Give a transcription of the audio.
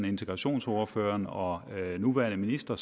integrationsordfører og nuværende minister